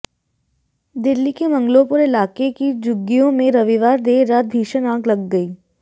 दिल्ली के मंगोलपुर इलाके की झुग्गियों में रविवार देर रात भीषण आग लग गई